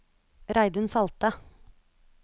Reidun Salte